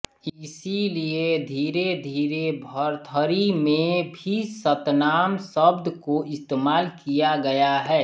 इसीलिये धीरे धीरे भरथरी में भी सतनाम शब्द को इस्तेमाल किया गया है